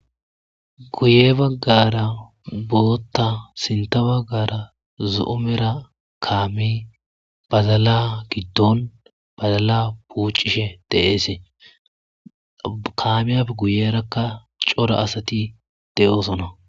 Guye bagara bota sinta bagara zomera kameyi badala gidonn badala bucishshe de'es .kamiyappe guyerakka cora asati de'osona .